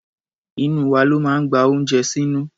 Inú wa ló máa ń gba oúnjẹ sínú.